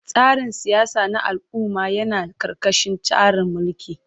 Tsarin siyasa na al'umma yana ƙarƙashin tsarin mulki.